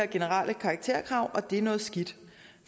generelle karakterkrav og det er noget skidt